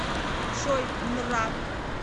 джой нра